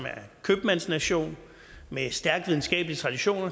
købmandsnation med stærke videnskabelige traditioner